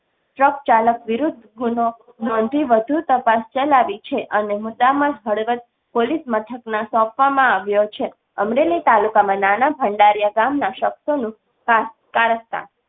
Truck ચાલક વિરૂધ્ધ ગુન્હો નોંધી વધુ તપાસ ચલાવી છે અને મોટા મળતાં પોલીસ મથકના સોંપવા માં આવ્યો છે. અમરેલી તાલુકાના ભંડારીયા ગામના શખ્સો નું કારસ્તાન.